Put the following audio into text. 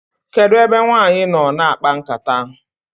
kedu ebe nwanyi noo na akpa nkata?